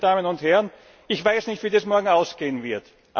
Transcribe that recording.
Geschätzte Damen und Herren! Ich weiß nicht, wie das morgen ausgehen wird.